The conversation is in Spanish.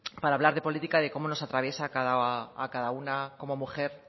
para hablar de política de cómo nos atraviesa a cada una como mujer